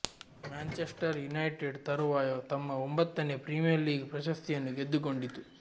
Manchester United ತರುವಾಯ ತಮ್ಮ ಒಂಬತ್ತನೇ ಪ್ರೀಮಿಯರ್ ಲೀಗ್ ಪ್ರಶಸ್ತಿಯನ್ನು ಗೆದ್ದುಕೊಂಡಿತು